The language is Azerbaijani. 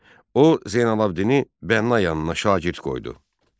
O Zeynallabddini bəna yanına şagird qoydu.